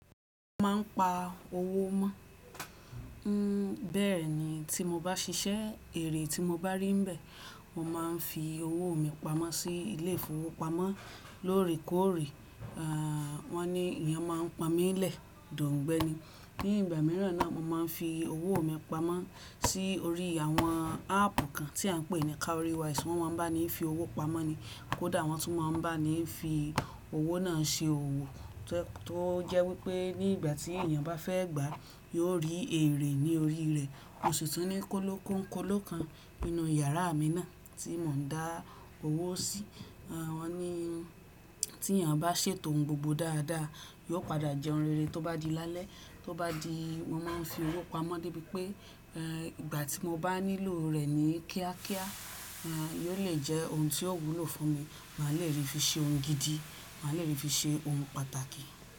Mo ma n pa owó mọ́, bẹ́ẹ̀ ni tí mo bá ṣiṣẹ́ èrè tí mo bá rí bẹ́ẹ̀, mo ma n fi owó mi pamọ́ sí ilé ìfowópamọ́. Lóore kòre, wọn ní èèyàn máa n pon mí lẹ̀, dọ̀ngbẹ́ni. Ní ìgbà mìíràn náà mo máa n fi owó mi pamọ́ sí orí àwọn áàpù kan tí a ń pè ní cowrywise wọ́n máa ń bá ni fi owó pamọ́ ni, kódà wọ́n tún máa ń bá ni fi owó náà ṣe owó. Tó jẹ́ wípé ní ìgbà tí èèyàn bá fẹ́ gbà yóò rí èrè ní orí rẹ̀. Mo sìtú ní kọ́lọ́ kọ́nkọ́lọ́ kan nínú yàrá mi náà tí mò ń dá owó sí. Wọ́n ní tí èèyàn bá ṣètò ohun gbogbo dáadáa, yóò padà jẹ́ ohun rere tó bá di lálẹ́, tó bá di mo máa ń fi owó pamọ́ de bi pé, ìgbà tí mo bá nílò rẹ̀ ni kíákíá yóò lè jẹ́ ohun tí yóò wúlò fún mi, màá le rí i fi ṣe ohun gidi, màá le rí i fi ṣe ohun pàtàkì.